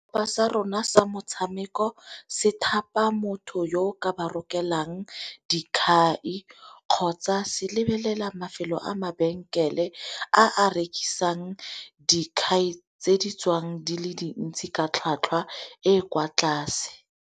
Setlhopha sa rona sa motshameko se thapa motho yo ka ba rokelang dikhai, kgotsa se lebelela mafelo a mabenkele a a rekisang dikhai tse di tswang di le dintsi ka tlhwatlhwa e e kwa tlase.